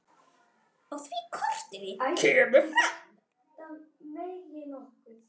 Á því korti kemur fram